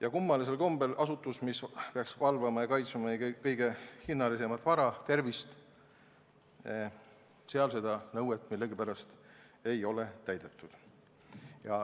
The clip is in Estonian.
Aga kummalisel kombel on nii, et asutuses, mis peaks valvama ja kaitsma meie kõige hinnalisemat vara, tervist, seda nõuet ei ole millegipärast täidetud.